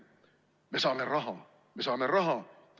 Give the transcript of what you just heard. Me saame raha, me saame raha!